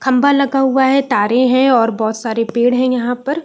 खंबा लगा हुआ है तारे हैं और बहुत सारे पेड़ हैं यहाँ पर।